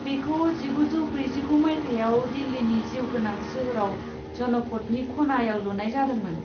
बेखौ जिगुजौ ब्रैजिगु मायथाइयाव दिल्लीनि जिउगोनां सोहोराव जनपथनि खनायाव लुनाय जादोंमोन।